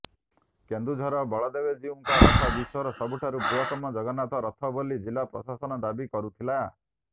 କେନ୍ଦୁଝରର ବଳଦେବଜିଉଙ୍କ ରଥ ବିଶ୍ବର ସବୁଠାରୁ ବୃହତ୍ତମ ଜଗନ୍ନାଥ ରଥ ବୋଲି ଜିଲ୍ଲା ପ୍ରଶାସନ ଦାବି କରୁଥିଲା